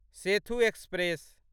Sethu express